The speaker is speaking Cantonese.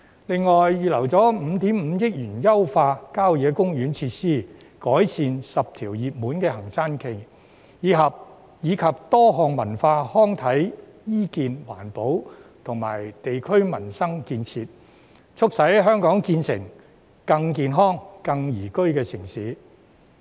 政府亦預留5億 5,000 萬元優化郊野公園設施、改善10條熱門行山徑，以及進行多項文化、康體、醫健、環保及地區民生建設，促使香港成為更健康、更宜居的城市。